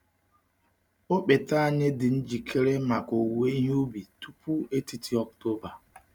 Ọkpete anyị dị njikere maka owuwe ihe ubi tupu etiti Ọktoba.